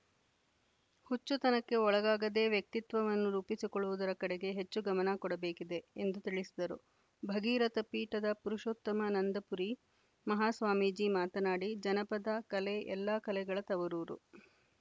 ಹುಚ್ಚುತನಕ್ಕೆ ಒಳಗಾಗದೇ ವ್ಯಕ್ತಿತ್ವವನ್ನು ರೂಪಿಸಿಕೊಳ್ಳುವುದರ ಕಡೆಗೆ ಹೆಚ್ಚು ಗಮನ ಕೊಡಬೇಕಿದೆ ಎಂದು ತಿಳಿಸಿದರು ಭಗೀರಥ ಪೀಠದ ಪುರುಷೋತ್ತಮನಂದಪುರಿ ಮಹಾಸ್ವಾಮೀಜಿ ಮಾತನಾಡಿ ಜನಪದ ಕಲೆ ಎಲ್ಲ ಕಲೆಗಳ ತವರೂರು